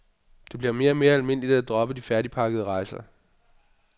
Det bliver mere og mere almindeligt at droppe de færdigpakkede rejser.